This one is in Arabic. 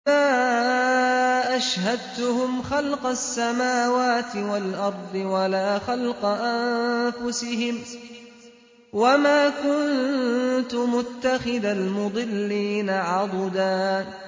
۞ مَّا أَشْهَدتُّهُمْ خَلْقَ السَّمَاوَاتِ وَالْأَرْضِ وَلَا خَلْقَ أَنفُسِهِمْ وَمَا كُنتُ مُتَّخِذَ الْمُضِلِّينَ عَضُدًا